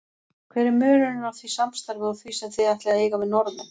Hver er munurinn á því samstarfi og því sem þið ætlið að eiga við Norðmenn?